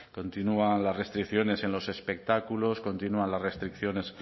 continúan las restricciones en los espectáculos continúan las restricciones